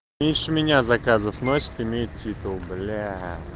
меньше меня заказов носит имеет титул бля